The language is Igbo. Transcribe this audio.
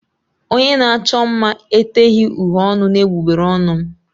Onye na-achọ mma eteghi uhie ọnụ n'egbugbere ọnụ m.